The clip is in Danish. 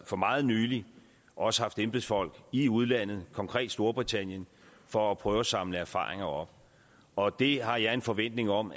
for meget nylig også haft embedsfolk i udlandet konkret i storbritannien for at prøve at samle erfaringer op og det har jeg en forventning om